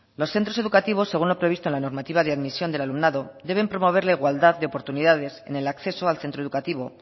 los centros educativos según lo previsto en la normativa de admisión del alumnado deben promover la igualdad de oportunidades en el acceso al centro educativo